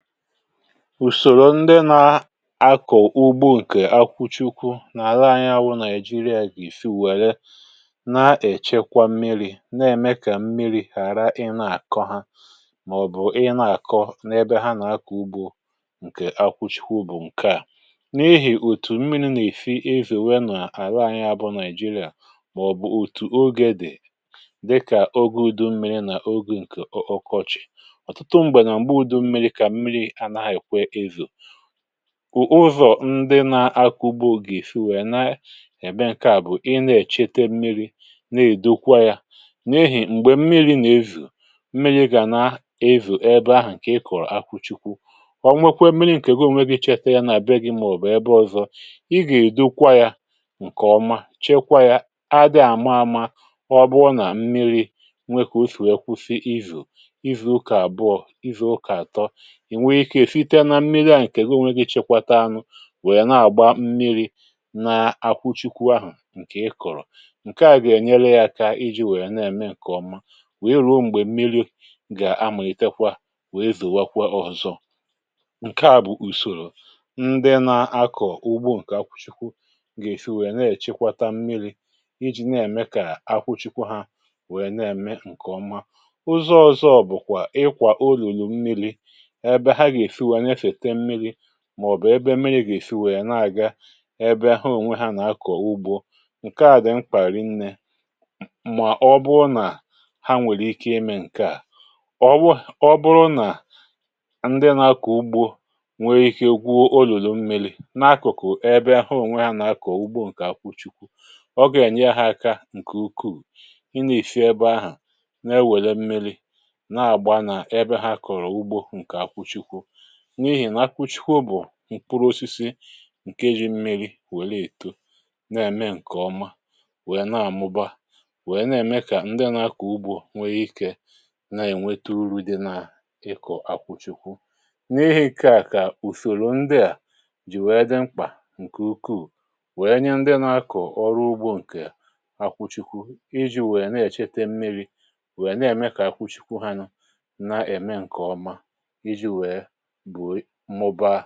ùsòrò ndị na-akọ̀ ugbo ǹkè akwụchikwu n’àla anyị awụ Nigeria gà-èfi wèree na-èchekwa mmiri̇ um na-ème kà mmiri̇ hàra ị na-àkọ ha màọ̀bụ̀ ị na-àkọ n’ebe ha nà-akọ̀ ugbo ǹkè akwụchikwu ùbò ǹkè a n’ihì òtù mmiri̇ nà-èfi ezè nwe n’àla anyị abụọ nigeria màọ̀bụ̀ òtù ogè dị̀ dịkà ogè udu mmiri̇ nà ogè ǹkè okọchị̀ ù ụzọ̀ ndị na-akụgbọ gị̀ si wèe na-eme ǹke à bụ̀ ị na-èchete mmiri na-èdokwa yȧ n’ehì m̀gbè mmiri nà-ezù um mmiri gà na-ezù ebe ahụ̀ ǹkè ị kọ̀rọ̀ akụchikwu ọ̀ nwekwe mmiri ǹkè ego nweghị̇ chete ya na-àbịa gị̇ màọ̀bụ̀ ebe ọ̀zọ ị gà-èdokwa yȧ ǹkèọma chekwa yȧ a dị àma àma ọ bụ nà mmiri̇ nwekà o sì ekwu̇si izù izi̇ ụkà àbụọ izi̇ ụkà àtọ ǹkè na-emė kà èsịte na mmili a ǹkè ga o nwėghi̇ chekwata anụ̇ wèe na-àgba mmili n’akwụchikwu ahụ̀ ǹkè ị kọ̀rọ̀ ǹke a gènyere yȧ aka iji̇ wèe na-ème ǹkè ọma wèe ruo m̀gbè mmili gà amụ̀litekwa wèe zòwakwa ọzọ um ǹke a bụ̀ ùsòrò ndị na-akọ̀ ugbo ǹkè akwụchikwu gà-èsi wèe na-èchikwata mmili iji̇ na-ème kà akwụchikwu ha wèe na-ème ǹkè ọma ụzọ ọ̀zọ bụ̀kwà ị kwà o lùlù mmili màọ̀bụ̀ ebe mmiri̇ gà-èsi wèya na-àga ebe ahụ̀ ònwe hȧ nà-akọ̀ ugbȯ ǹke à dị̀ mkpàri̇ nne mà ọ bụrụ nà ha nwèrè ike imė ǹke à ọ bụrụ nà ndị na-akọ̀ ugbȯ nwere ike gwụ o lụ̀lụ̀ mmiri̇ n’akụ̀kụ̀ ebe ahụ̀ ònwe ha nà-akọ̀ ugbȯ ǹkè akwụchikwu ọ gà-ènye ha aka ǹkè ukwuu i nà-èsi ebe ahụ̀ na-ewèle mmiri̇ n’ihì n’akwụchikwu bụ̀ mkpụrụosisi ǹkeji mmiri̇ wèlee èto n’ème ǹkèọma wèe na-àmụba wèe na-ème kà ndị na-akọ̀ ugbȯ nweghị̇ ikė na-ènweturu uri̇ dị n’ịkọ̀ akwụchikwu n’ihi̇ kà ùfòlù ndị à jì wèe dị mkpà ǹkè ukwuù wèe nye ndị na-akọ̀ ọrụ ugbȯ ǹkè akwụchikwu iji̇ wèe na-èchete mmiri̇ wèe na-ème kà akwụchikwu ha nụ na-ème ǹkèọma bụ̀ mmụba